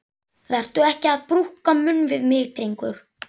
Vertu ekki að brúka munn við mig, drengur!